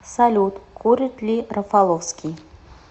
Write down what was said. салют курит ли рафаловский